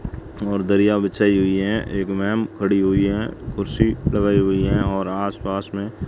और धरिया बिछाईं हुईं है एक मेम खड़ी हुई हैं कुर्सी लगाई हुई हैं और आस पास में --